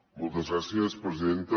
moltes gràcies presidenta